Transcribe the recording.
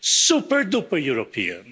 Super duper European.